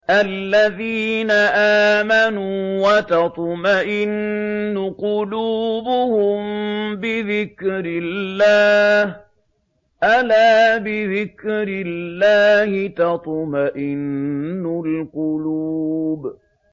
الَّذِينَ آمَنُوا وَتَطْمَئِنُّ قُلُوبُهُم بِذِكْرِ اللَّهِ ۗ أَلَا بِذِكْرِ اللَّهِ تَطْمَئِنُّ الْقُلُوبُ